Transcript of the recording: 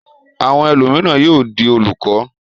Àwọn ẹlòmíràn yóò di olùkọ́.